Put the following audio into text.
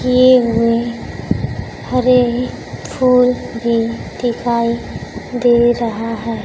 केवी हरे फूल भी दिखाई दे रहा है।